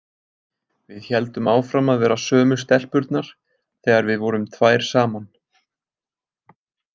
Við héldum áfram að vera sömu stelpurnar þegar við vorum tvær saman.